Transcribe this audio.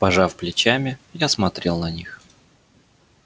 пожав плечами я смотрел на них